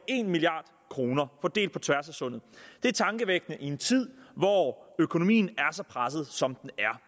en milliard kroner fordelt på tværs af sundet det er tankevækkende i en tid hvor økonomien er så presset som den er